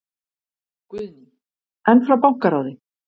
Guðný: En frá bankaráði?